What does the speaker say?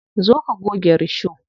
Zo ka goge risho.